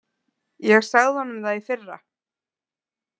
Ég sagði honum það í fyrra.